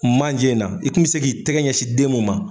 Manjɛ in na i kun bɛ se k'i tɛgɛ ɲɛsin den mun ma.